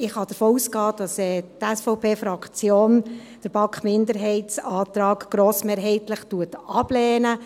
Somit kann ich davon ausgehen, dass die SVPFraktion den BaK-Minderheitsantrag grossmehrheitlich ablehnt.